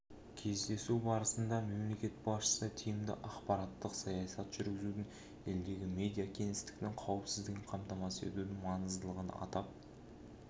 кездесу барысында мемлекет басшысы тиімді ақпараттық саясат жүргізудің елдегі медиа кеңістіктің қауіпсіздігін қамтамасыз етудің маңыздылығын атап